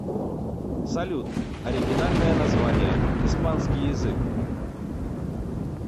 салют оригинальное название испанский язык